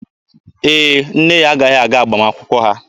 Ee, nne ya agaghị aga agbamakwụkwọ ha.